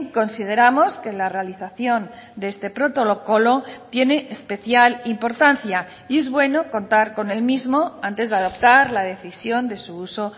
consideramos que la realización de este protocolo tiene especial importancia y es bueno contar con el mismo antes de adaptar la decisión de su uso